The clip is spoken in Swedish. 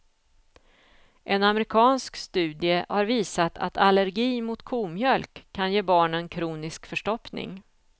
En amerikansk studie har visat att allergi mot komjölk kan ge barnen kronisk förstoppning.